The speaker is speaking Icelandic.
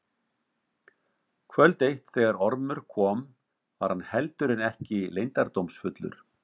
Kvöld eitt þegar Ormur kom var hann heldur en ekki leyndardómsfullur.